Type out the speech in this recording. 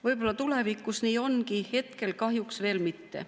Võib-olla tulevikus nii ongi, hetkel kahjuks veel mitte.